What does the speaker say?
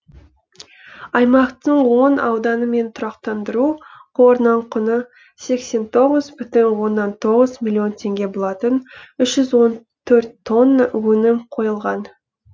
аймақтың он ауданы мен тұрақтандыру қорынан құны сексен тоғыз бүтін оннан тоғыз миллион теңге болатын үш жүз он төрт тонна өнім қойылған